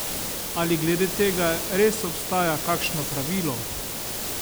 Ali glede tega res obstaja kakšno pravilo?